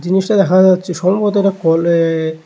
জিনিসটা দেখা যাচ্ছে সম্ভবত একটা কলে--